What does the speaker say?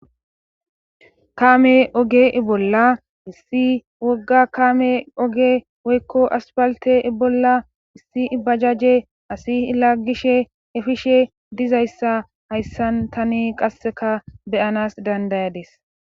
Kame oge ibolla issi wogga kaame oge woykko aspalte ibolla issi ibajaje asi laggishe efishe dizayssa hayssan tani qasseka beyanas dandayades.